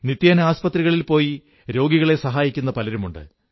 നിത്യേന ആസ്പത്രികളിൽ പോയി രോഗികളെ സഹായിക്കുന്ന പലരുമുണ്ട്